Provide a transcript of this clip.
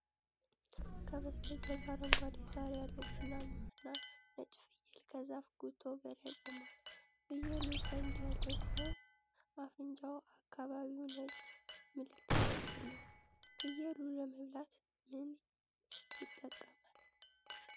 ከበስተጀርባ አረንጓዴ ሣር ያለው ቡናማና ነጭ ፍየል ከዛፍ ጉቶ በላይ ቆሟል። ፍየሉ ቀንድ ያለው ሲሆን አፍንጫው አካባቢ ነጭ ምልክት አለው። ፍየሉ ለመብላት ምን ይጠቀማል?